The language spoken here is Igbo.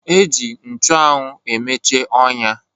E ji nchụanwụ emeche ọnya